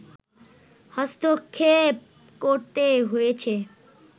হস্তক্ষেপ করতে হয়েছে